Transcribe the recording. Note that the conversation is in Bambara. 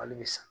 Hali bi sa